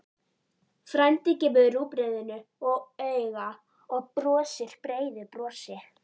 Frændi gefur rúgbrauðinu auga og brosir breiðu brosi.